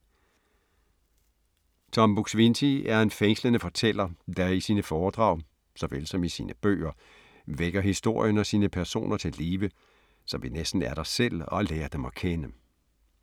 Tom Buk-Swienty er en fængslende fortæller, der i sine foredrag såvel som i sine bøger vækker historien og sine personer til live, så vi næsten er der selv og lærer dem at kende.